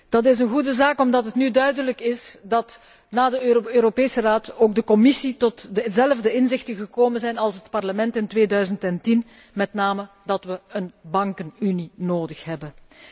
Dat is een goede zaak omdat het nu duidelijk is dat, na de Europese Raad, nu ook de Commissie tot dezelfde inzichten gekomen is als het Parlement in 2010, met name dat wij een bankenunie nodig hebben.